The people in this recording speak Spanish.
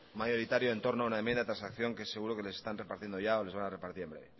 mayoritario en torno a una enmienda de transacción que seguro que les están repartiendo o les van a repartir en breve